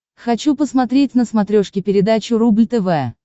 хочу посмотреть на смотрешке передачу рубль тв